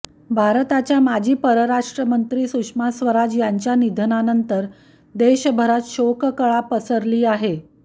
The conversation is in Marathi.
भारताच्या माजी परराष्ट्रमंत्री सुषमा स्वराज यांच्या निधनानंतर देशभरात शोककळा पसरली आहे